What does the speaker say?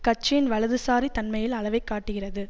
கட்சியின் வலதுசாரி தன்மையின் அளவை காட்டுகிறது